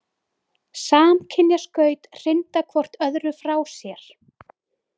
Samkynja skaut hrinda hvort öðru frá sér.